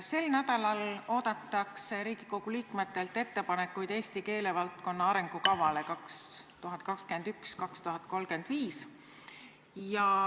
Sel nädalal oodatakse Riigikogu liikmetelt ettepanekuid Eesti keelevaldkonna arengukavale 2021–2035.